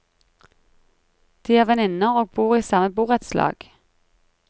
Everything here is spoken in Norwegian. De er venninner og bor i samme borettslag.